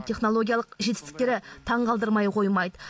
технологиялық жетістіктері таңғалдырмай қоймайды